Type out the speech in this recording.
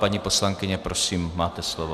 Paní poslankyně, prosím, máte slovo.